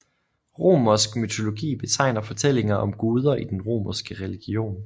Romersk mytologi betegner fortællinger om guder i den romerske religion